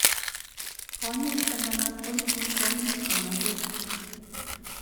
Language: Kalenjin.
Konyit eng alak koipu konyit eng achek